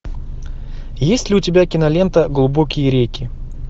есть ли у тебя кинолента глубокие реки